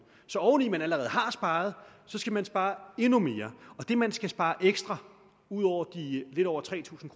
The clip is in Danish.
så oven i at man allerede har sparet skal man spare endnu mere det man skal spare ekstra ud over de lidt over tre tusind